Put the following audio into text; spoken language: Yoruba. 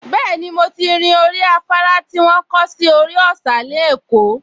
Bẹ́ẹ̀ni, mo ti rin orí afárá tí wọ́n kọ́ sórí òsà ní Èkó